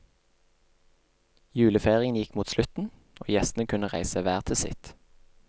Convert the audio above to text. Julefeiringen gikk mot slutten, og gjestene kunne reise hver til sitt.